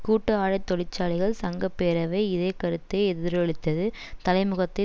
கூட்டு ஆடைத்தொழிற்சாலைகள் சங்க பேரவை இதே கருத்தை எதிரொலித்தது தலைமுகத்தை